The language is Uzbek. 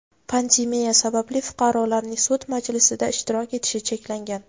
Pandemiya sababli fuqarolarning sud majlisida ishtirok etishi cheklangan.